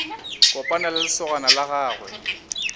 kopana le lesogana la gagwe